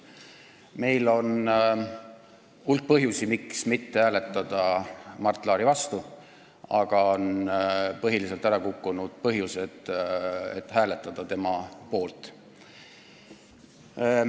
Meil on hulk põhjusi, miks mitte hääletada Mart Laari vastu, aga põhiliselt on ära kukkunud põhjused, miks hääletada tema poolt.